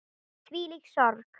Þvílík sorg.